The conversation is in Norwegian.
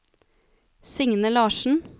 Signe Larssen